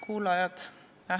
Kuulajad!